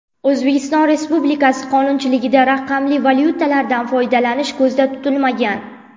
O‘zbekiston Republikasi qonunchiligida raqamli valyutalardan foydalanish ko‘zda tutilmagan.